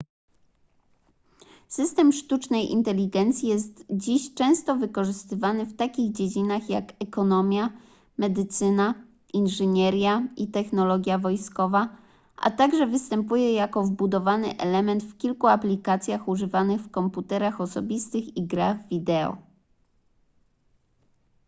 system sztucznej inteligencji jest dziś często wykorzystywany w takich dziedzinach jak ekonomia medycyna inżynieria i technologia wojskowa a także występuje jako wbudowany element w kilku aplikacjach używanych w komputerach osobistych i grach wideo